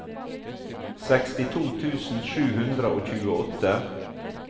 sekstito tusen sju hundre og tjueåtte